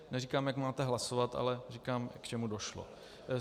Neříkám, jak máte hlasovat, ale říkám, k čemu došlo.